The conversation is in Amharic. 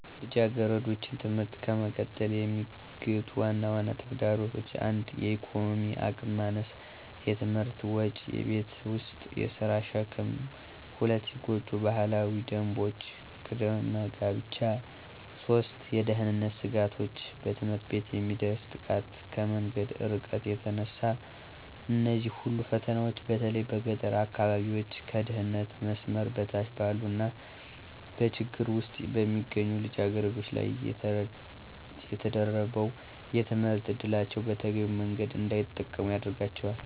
ልጃገረዶችን ትምህርት ከመቀጠል የሚገቱ ዋና ዋና ተግዳሮቶች 1. የኢኮኖሚ አቅም ማነስ * የትምህርት ወጪ: * የቤት ውስጥ የሥራ ሸክም: 2. ጎጂ ባህላዊ ደንቦች * ቅድመ ጋብቻ 3. የደህንነት ስጋቶች * በትምህርት ቤት የሚደርስ ጥቃት: ከመንገዱ እርቀት የተነሳ እነዚህ ሁሉ ፈተናዎች በተለይ በገጠር አካባቢዎች፣ ከድህነት መስመር በታች ባሉ እና በችግር ውስጥ በሚገኙ ልጃገረዶች ላይ ተደራርበው የትምህርት ዕድላቸውን በተገቢው መንገድ እንዳይጠቀሙ ያደርጋቸዋል።